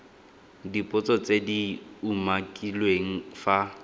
dipotso tse di umakiliweng fa